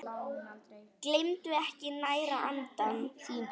Gleymdu ekki að næra andann!